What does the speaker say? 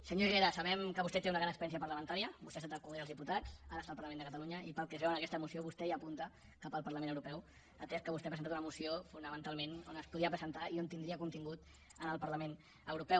senyor herrera sabem que vostè té una gran experiència parlamentària vostè ha estat al congrés dels diputats ara està al parlament de catalunya i pel que es veu en aquesta moció vostè ja apunta cap al parlament europeu atès que vostè ha presentat una moció fonamentalment que es podia presentar i tindria contingut en el parlament europeu